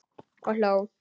Og hló.